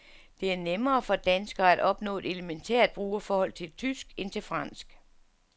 Det er nemmere for danskere at opnå et elementært brugerforhold til tysk end til fransk.